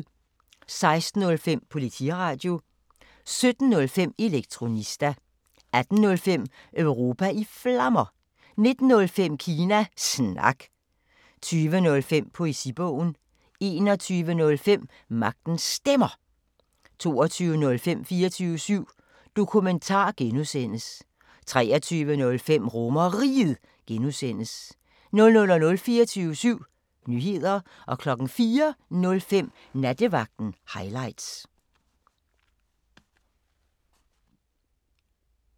16:05: Politiradio 17:05: Elektronista 18:05: Europa i Flammer 19:05: Kina Snak 20:05: Poesibogen 21:05: Magtens Stemmer 22:05: 24syv Dokumentar (G) 23:05: RomerRiget (G) 00:00: 24syv Nyheder 04:05: Nattevagten Highlights